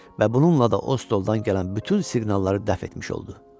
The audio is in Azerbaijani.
Və bununla da o stoldan gələn bütün siqnalları dəf etmiş oldu.